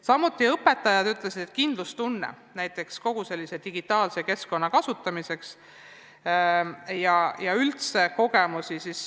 Samuti rääkisid õpetajad kindlustundest kogu selle digitaalse keskkonna kasutamisega seoses.